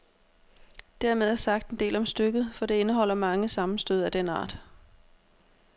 Dermed er sagt en del om stykket, for det indeholder mange sammenstød af den art.